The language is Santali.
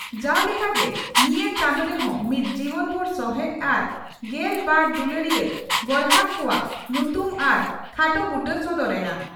ᱡᱟᱣ ᱞᱮᱠᱟ ᱜᱮ ᱱᱤᱭᱟᱹ ᱪᱟᱸᱫᱚ ᱨᱮᱦᱚᱸ ᱢᱤᱫ ᱡᱤᱵᱚᱱᱵᱷᱩᱨ ᱥᱚᱦᱮᱰ ᱟᱨ ᱜᱮᱞ ᱵᱟᱨ ᱫᱩᱞᱟᱹᱲᱤᱭᱟᱹ ᱜᱚᱨᱦᱟᱠ ᱠᱚᱣᱟᱜ ᱧᱩᱛᱩᱢ ᱟᱨ ᱠᱷᱟᱴᱚ ᱵᱩᱴᱟᱹ ᱥᱚᱫᱚᱨ ᱮᱱᱟ ᱾